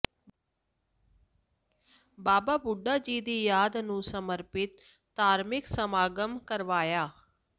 ਬਾਬਾ ਬੁੱਢਾ ਜੀ ਦੀ ਯਾਦ ਨੂੰ ਸਮਰਪਿਤ ਧਾਰਮਿਕ ਸਮਾਗਮ ਕਰਵਾਇਆ